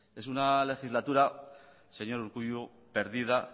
es una legislatura señor urkullu perdida